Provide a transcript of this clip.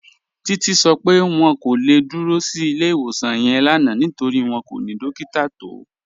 Títí sọ pé wọn kò le dúró sí ilẹ̀-iwosan yẹn lánà nítorí wọn kò ni dòkítà tó